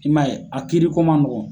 I m'a y'e kiiri ko ma nɔgɔ.